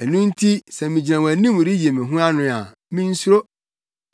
ɛno nti sɛ migyina wʼanim reyi me ho ano a, minsuro.